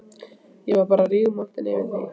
Ég var bara rígmontin yfir því að